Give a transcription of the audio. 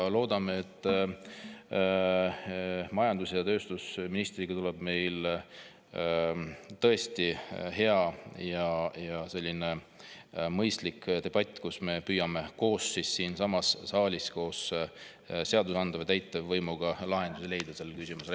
Loodame, et majandus‑ ja tööstusministriga tuleb meil tõesti hea ja mõistlik debatt, kus me koos, seadusandlik ja täitevvõim, püüame siinsamas saalis leida lahendusi sellele küsimusele.